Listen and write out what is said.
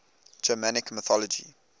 germanic mythology